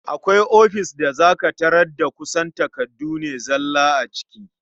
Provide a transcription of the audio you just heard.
Akwai ofis da za ka tarar da kusan takardu ne zalla a ciki.